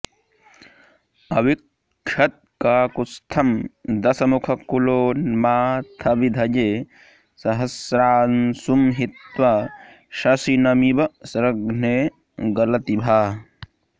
अविक्षत्काकुत्स्थं दशमुखकुलोन्माथविधये सहस्रांशुं हित्वा शशिनमिव घस्रे गलति भा